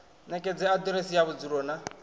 ṋekedze aḓiresi ya vhudzulo na